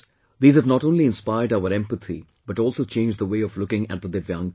These have not only inspired our empathy but also changed the way of looking at the DIVYANG people